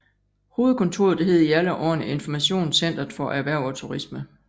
Hovedkontoret hed i alle årene Informationscentret for Erhverv og Turisme